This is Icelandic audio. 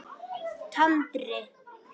Tandri